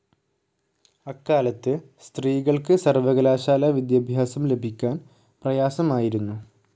അക്കാലത്ത് സ്ത്രീകൾക്ക് സർവ്വകലാശാല വിദ്യാഭ്യാസം ലഭിക്കാൻ പ്രയാസമായിരുന്നു.